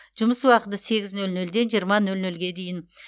жұмыс уақыты сегіз нөл нөлден жиырма нөл нөлге дейін